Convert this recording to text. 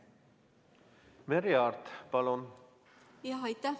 Merry Aart, palun!